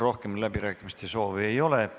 Rohkem läbirääkimiste soovi ei ole.